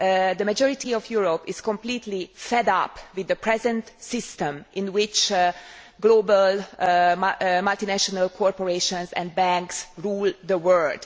The majority of Europe is completely fed up with the present system, in which global multinational corporations and banks rule the world.